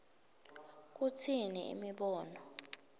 kutsini imibono